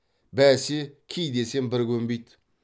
бәсе ки десем бір көнбейді